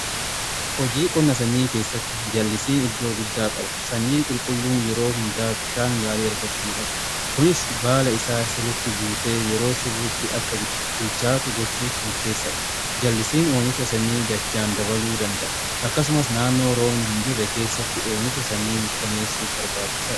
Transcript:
Hojii qonna sanyii keessatti jal'isiin iddoo guddaa qaba. Sanyii qulqulluun yeroo hundaa bishaan gaarii argachuu qabu. Kunis baala isaa sirritti guutee yeroo sirritti akka bilchaatu gochuuf murteessaadha jal'isiin oomicha sanyii dachaan dabaluu danda'a. Akkasumas naannoo roobni hin jirre keessatti oomicha sanyii mirkaneessuu barbaachisa.